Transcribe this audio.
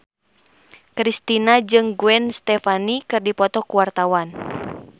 Kristina jeung Gwen Stefani keur dipoto ku wartawan